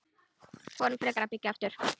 Förum frekar að byggja aftur.